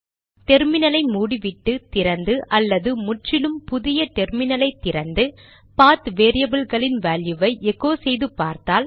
டெர்மினலை மூடிவிட்டு திறந்து அல்லது முற்றிலும் புதிய டெர்மினலை திறந்து பாத் வேரியபில்களின் வேல்யுவை எகோ செய்து பார்த்தால்